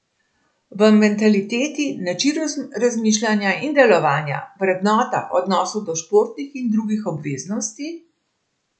V mentaliteti, načinu razmišljanja in delovanja, vrednotah, odnosu do športnih in drugih obveznosti...